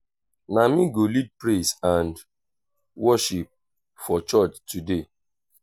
na me go lead praise and um worship for church today